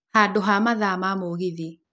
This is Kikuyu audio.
handũ ha mathaa ma mũgithi